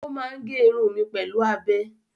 Ó máa ń gé irun mi pẹ̀lú abẹ.